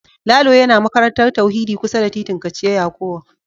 Lalo yana makarantar tauhidi kusa da titin kachia yakowa